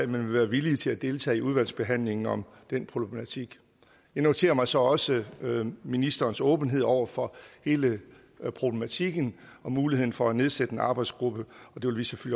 vil være villige til at deltage i udvalgsbehandlingen om den problematik jeg noterer mig så også ministerens åbenhed over for hele problematikken og muligheden for at nedsætte en arbejdsgruppe